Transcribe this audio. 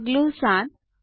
પગલું 7